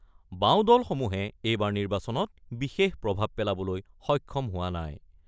বাওঁ দলসমূহে এইবাৰৰ নিৰ্বাচনত বিশেষ প্ৰভাৱ পেলাবলৈ সক্ষম হোৱা নাই।